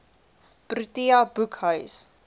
protea boekhuis